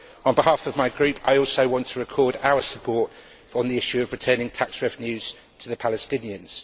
On behalf of my group, I also want to record our support on the issue of returning tax revenues to the Palestinians.